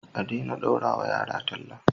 adena daurawa yara talla